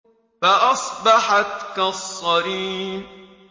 فَأَصْبَحَتْ كَالصَّرِيمِ